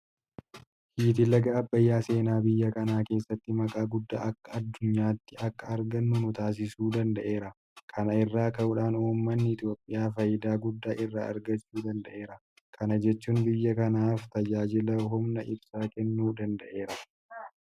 Hiiti laga abbayyaa seenaa biyya kanaa keessatti maqaa guddaa akka addunyaatti akka argannu nutaasisuu danda'eera. Kana irraa ka'uudhaan uummanni Itoophiyaa faayidaa guddaa irraa argachuu danda'eera. Kana jechuun biyya kanaaf tajaajila humna ibsaa kennuu danda'eera.